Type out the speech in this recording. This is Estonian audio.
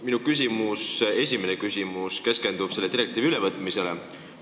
Minu esimene küsimus keskendub selle direktiivi ülevõtmisele.